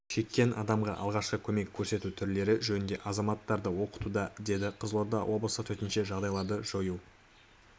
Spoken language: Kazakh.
шеккен адамға алғашқы көмек көрсету түрлері жөнінде азаматтарды оқытуда деді қызылорда облысы төтенше жағдайларды жою